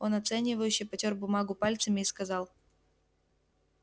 он оценивающе потёр бумагу пальцами и сказал